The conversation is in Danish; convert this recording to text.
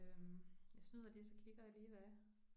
Øh jeg snyder lige, og så kigger jeg lige hvad er